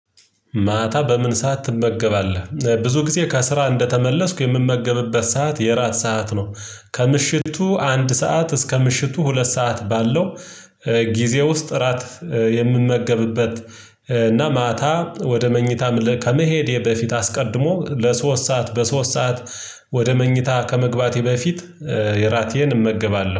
ማታ በምን ሰዓት ትመገባለህ? ብዙ ጊዜ ከስራ እንደተመለስኩ የምመገብበት ሰዓት የእራት ሰዓት ነው ከምሽቱ አንድ ሰዓት እስከ ምሽቱ ሁለት ሰዓት ባለው ጊዜ ውስጥ እራት። የምንመገብበት እና ማታ ወደ መኝታ ከመሄዴ በፊት አስቀድሞ ለሶስት ሰዓት በሶስት ሰዓት ወደ መኝታ ከመግባቴ በፊት ራቴን እመገባለሁ